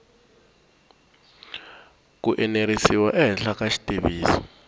ku enerisiwa ehenhla ka xitiviso